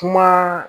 Kuma